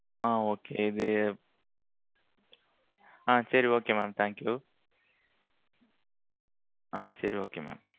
ஆ okay இது ஆ சரி okay mam thank you ஆ சரி okay mam